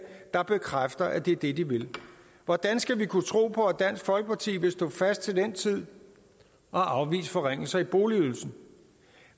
der bekræfter at det er det de vil hvordan skal vi kunne tro på at dansk folkeparti vil stå fast til den tid og afvise forringelser i boligydelsen